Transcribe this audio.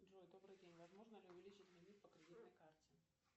джой добрый день возможно ли увеличить лимит по кредитной карте